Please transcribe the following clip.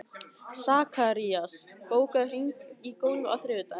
Sakarías, bókaðu hring í golf á þriðjudaginn.